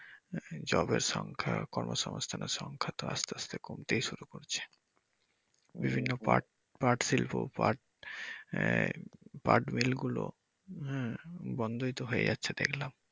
জবের সংখ্যা কর্ম সংস্থানের সংখ্যা তো আস্তে আস্তে কমতেই শুরু করছে বিভিন্ন পাট পাট শিল্প পাট আহ পাটমিল গুলো হ্যা বন্ধই তো হয়ে যাচ্ছে দেখলাম।